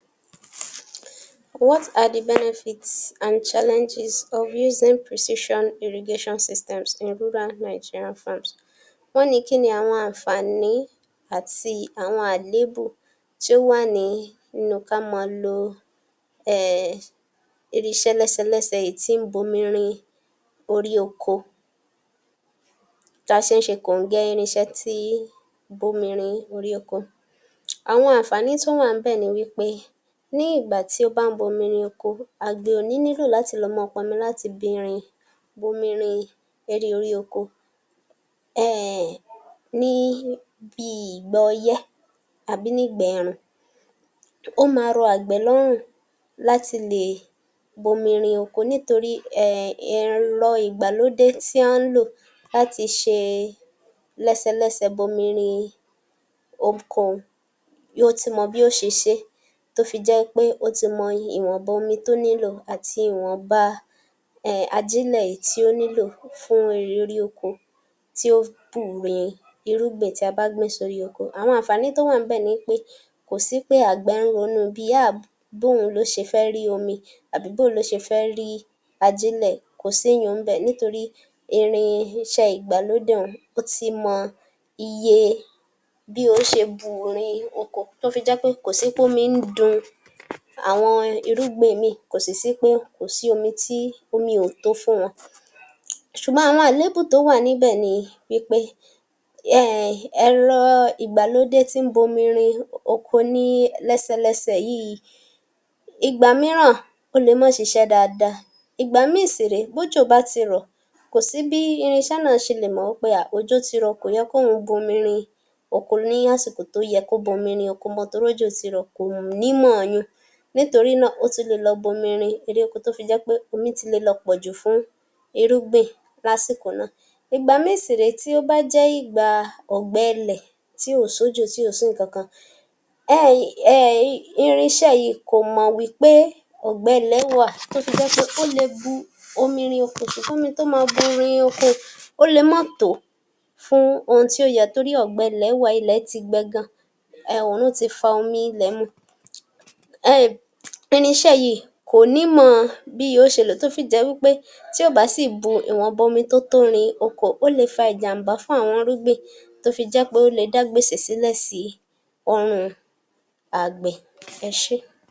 What are the benefits and challenges of using precision irrigation systems in rural Nigerian farms? wọ́n ní kíni àwọn àǹfàní àti àwọn àléébù tí ò wà ní inú kí a máa lo um irinṣẹ́ lẹ́sẹlẹ́sẹ èyí tí ń bomi rin orí oko, tá a ṣe ń ṣe kòńgẹ́ irinṣẹ́ tí bomi rin orí oko, àwọn àǹfàní tó wà ńbẹ̀ ni wípe, ní ìgbà tí ó bá ń bomi rin oko àgbẹ̀ ò ní lílò láti lọ máa pọnmi láti bi rin, bomi rin erí orí oko[um] ní bí ìgbà ọyẹ́ àbí nígbẹ̀rùn, ó máa rọ àgbẹ̀ lọ́rùn láti lè bomi rin oko, nítorí um ẹ̀rọ ìgbàlódé tí à ń lò láti ṣe lẹ́sẹlẹ́sẹ bomi rin oko un, yóò ti mọ bí ó ṣe ṣe tó fi jẹ́ pé ó ti mọ ìwọ̀nba omi tó nílò àti ìwọ̀nba um ajílẹ̀ èyí tó nílò fún irì orí oko tí ó bù rin irúgbìn tí a bá gbìn sórí oko. Àwọn àǹfàní tó wà níbẹ̀ ni pé kò sí pé àgbẹ̀ ń ronú bí háà um bóun ló ṣe fé rí omi, àbí bóo ló ṣe fẹ́ rí ajílẹ̀, kò sí yun-uǹ ńbẹ̀ nítorí irinṣẹ́ ìgbàlódé un, ó ti mọ iye bí óò ṣe bu rin oko, tó fi jẹ́ pé kò sí pómi ń dun àwọn irúgbìn míì, kò sì sí pé kò sí omi tí, omi ò tó fún wọn. Ṣùgbọ́n àwọn àléébù tó wà níbẹ̀ ni wípe [um]ẹ̀rọ ìgbàlódé tí ń bomi rin oko ní lẹ́sẹlẹ́sẹ yìí, ìgbà mìíràn ó le má ṣiṣẹ́ dáadáa, ìgbà míì sì rè ẹ, bójò bá ti rọ̀, kì í sí bí irinṣẹ́ náà ṣe le mọ̀ pé háà, òjò ti rọ̀, kò yẹ kóhun bomi rin oko ní àsìkò tó yẹ kó bomi rin oko mọ́, torí òjò ti rọ̀, kò ní mọ̀ yun-ùn, nítorí náà, ó tún lè lọ bomi rin eríko, tó fi jẹ́ pé omi ti lè lọ pọ̀ jù fún irúgbìn lásìkò náà, ìgbà míì sì rè é, tí ó bá jẹ́ ìgbà ọ̀gbẹlẹ̀, tí ò sójò, tí ò sí nkànkan um irinṣẹ́ yìí kò mọ́ wípé ọ̀gbẹlẹ̀ wà, tó fi jẹ́ pé ó le bu omi rin oko, ṣùgbọ́n omi tó máa bù rin oko un, ó lè má tò fún òhun tí ó yẹ, torí ọ̀gbẹlẹ̀ wà, ilẹ̀ ti gbẹ gan-an um oòrùn ti fa omi ilẹ̀ mu um irinṣẹ́ yìí kò ní mọ̀ bí yòó ṣe lè, tó fi jẹ́ wípé tí ó bá sì bú ìwọ̀nba omi tó tó rin oko, ó le fa ìjàm̀bá fún àwọn irúgbìn tó fi jẹ́ pé ó le dá gbèsè sílẹ̀ sí ọrùn àgbẹ̀. Ẹ ṣé